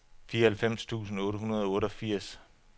fireoghalvfems tusind otte hundrede og otteogfirs